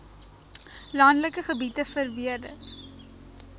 landelike gebiede verbeter